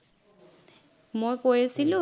মই কৈ আছিলো